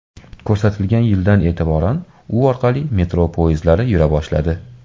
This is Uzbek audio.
Ko‘rsatilgan yildan e’tiboran u orqali metro poyezdlari yura boshladi.